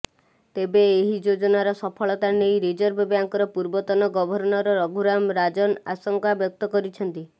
ତେବେ ଏହି ଯୋଜନାର ସଫଳତା ନେଇ ରିଜର୍ଭ ବ୍ୟାଙ୍କର ପୂର୍ବତନ ଗଭର୍ଣ୍ଣର ରଘୁରାମ୍ ରାଜନ୍ ଆଶଙ୍କା ବ୍ୟକ୍ତ କରିଛନ୍ତି